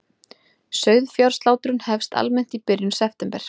Sauðfjárslátrun hefst almennt í byrjun september